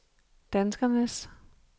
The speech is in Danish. danskernes